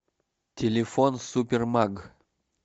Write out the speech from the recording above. телефон супермаг